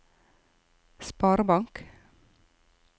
sparebank